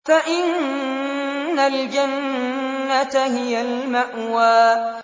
فَإِنَّ الْجَنَّةَ هِيَ الْمَأْوَىٰ